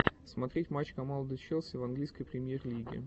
смотреть матч команды челси в английской премьер лиги